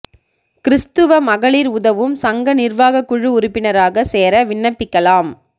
கிறிஸ்துவ மகளிா் உதவும் சங்க நிா்வாகக் குழு உறுப்பினராக சேர விண்ணப்பிக்கலாம்